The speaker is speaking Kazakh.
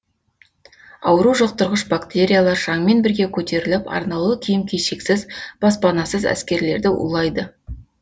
ауру жұқтырғыш бактериялар шаңмен бірге көтеріліп арнаулы киім кешексіз баспанасыз әскерлерді улайды